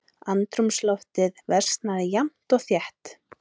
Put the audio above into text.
Andrúmsloftið versnaði jafnt og þétt.